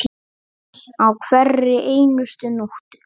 Á hverri einustu nóttu.